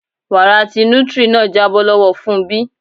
Wara ti nutri náà jábọ́ lọ́wọ Fúnmbí.